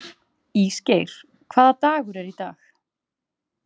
Ísgeir, hvaða dagur er í dag?